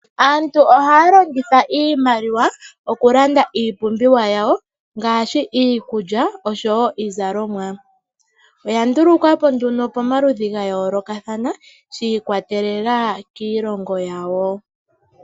Aantu ohaa longitha iimaliwa okulanda iipumbiwa yawo ngaashi iikulya, oshowo iizalomwa. Oya ndulukwapo nduno pamaludhi ga yoolokathana, shi ikwatelela kiilongo yawo.